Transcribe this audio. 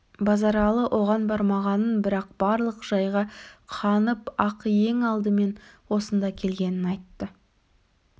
базаралы оған бармағанын бірақ барлық жайға қанып ап ең алдымен осында келгенін айтты